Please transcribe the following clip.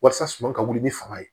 Walasa suman ka wuli ni fanga ye